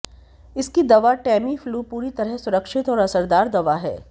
इसकी दवा टैमीफ्लू पूरी तरह सुरक्षित और असरदार दवा है